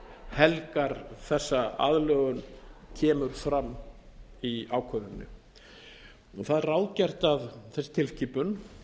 helgar þessa aðlögun kemur fram í ákvörðuninni það er ráðgert að þessi tilskipun